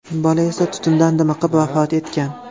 Bola esa tutundan dimiqib vafot etgan.